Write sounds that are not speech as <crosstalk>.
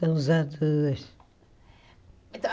Só. <unintelligible>